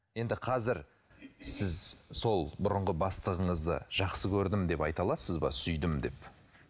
енді қазір сіз сол бұрынғы бастығыңызды жақсы көрдім деп айта аласыз ба сүйдім деп